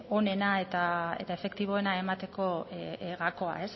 onena eta efektiboena emateko gakoa